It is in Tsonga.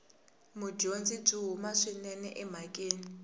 mudyondzi byi huma swinene emhakeni